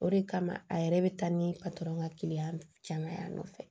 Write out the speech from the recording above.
O de kama a yɛrɛ bɛ taa ni patɔrɔn ka kiliyan nɔfɛ